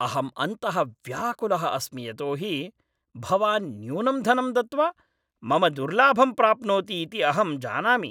अहं अन्तः व्याकुलः अस्मि यतोहि भवान् न्यूनं धनं दत्त्वा मम दुर्लाभं प्राप्नोति इति अहं जानामि।